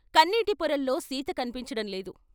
కన్నీటి పొరల్లో సీత కన్పించటం లేదు